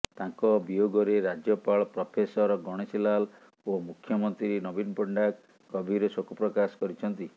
ତାଙ୍କ ବିୟୋଗରେ ରାଜ୍ୟପାଳ ପ୍ରଫେସର ଗଣେଶୀ ଲାଲ ଓ ମୁଖ୍ୟମନ୍ତ୍ରୀ ନବୀନ ପଟ୍ଟନାୟକ ଗଭୀର ଶୋକ ପ୍ରକାଶ କରିଛନ୍ତି